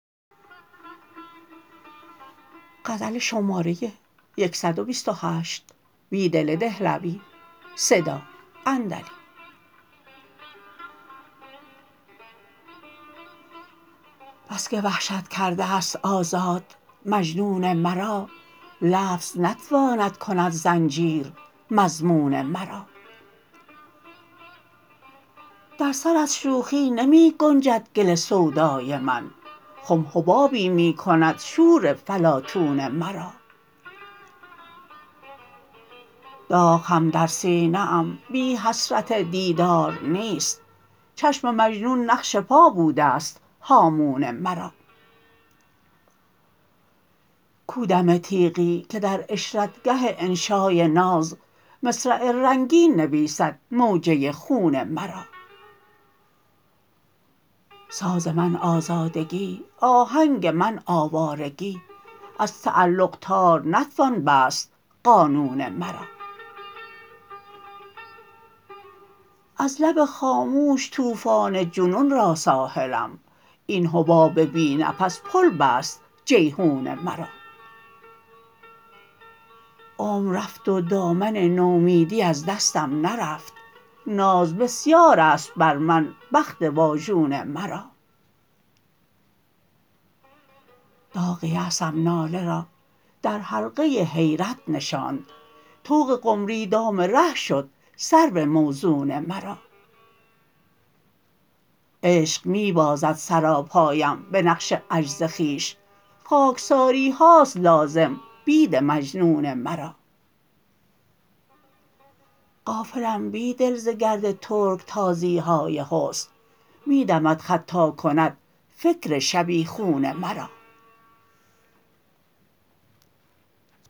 بسکه وحشت کرده است آزاد مجنون مرا لفظ نتواند کند زنجیر مضمون مرا در سر از شوخی نمی گنجد گل سودای من خم حبابی می کند شور فلاطون مرا داغ هم در سینه ام بی حسرت دیدار نیست چشم مجنون نقش پا بوده ست هامون مرا کو دم تیغی که در عشرتگه انشای ناز مصرع رنگین نویسد موجه خون مرا ساز من آزادگی آهنگ من آوارگی از تعلق تار نتوان بست قانون مرا از لب خاموش توفان جنون را ساحلم این حباب بی نفس پل بست جیحون مرا عمر رفت و دامن نومیدی از دستم نرفت ناز بسیار است بر من بخت واژون مرا داغ یأسم ناله را درحلقه حیرت نشاند طوق قمری دام ره شد سرو موزون مرا عشق می بازد سراپایم به نقش عجز خویش خاکساری هاست لازم بید مجنون مرا غافلم بیدل ز گرد ترکتازی های حسن می دمد خط تا کند فکر شبیخون مرا